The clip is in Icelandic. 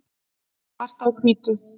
svart á hvítu